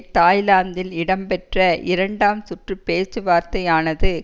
தாய்லாந்தில் இடம்பெற்ற இரண்டாம் சுற்று பேச்சுவார்த்தையானது